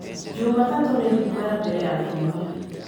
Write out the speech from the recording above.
jumatatu nĩ thikũ ya mbele ya kiumia